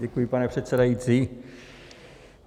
Děkuji, pane předsedající.